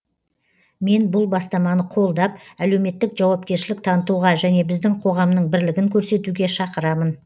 мен бұл бастаманы қолдап әлеуметтік жауапкершілік танытуға және біздің қоғамның бірлігін көрсетуге шақырамын